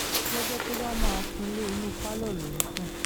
lọ́jọ́ tó bá máa súnlẹ̀ inú pálọ̀ ló ń sùn